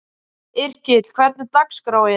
Yrkill, hvernig er dagskráin?